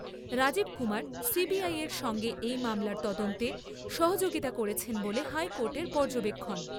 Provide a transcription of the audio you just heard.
Rajib Kumar CBI এর সঙ্গে এই মামলার তদন্তে সহযোগিতা করেছেন বলে হাইকোর্টের পর্যবেক্ষণ।